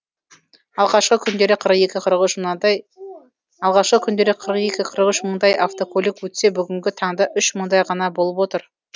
алғашқы күндері қырық екі қырық үш мыңдай автокөлік өтсе бүгінгі таңда үш мыңдай ғана болып отыр